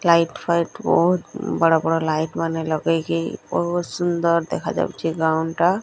Light ଫାଇଟ ବହୁତ୍ ବଡ ବଡ ଲାଇଟ ମାନେ ଲଗେଇକି ବହୁତ ସୁନ୍ଦର ଦେଖାଯାଉଛି। ଗ୍ରାଉଣ୍ଡ ଟା।